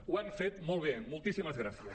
ho han fet molt bé moltíssimes gràcies